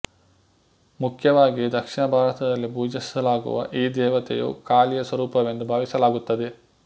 ಮುಖ್ಯವಾಗಿ ದಕ್ಷಿಣ ಭಾರತದಲ್ಲಿ ಪೂಜಿಸಲಾಗುವ ಈ ದೇವತೆಯು ಕಾಳಿಯ ಸ್ವರೂಪವೆಂದು ಭಾವಿಸಲಾಗುತ್ತದೆ